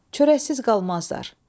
Çörəksiz qalmazlar.